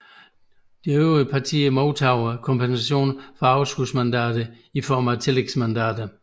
De øvrige partier modtager kompensation for overskudsmandater i form af tillægsmandater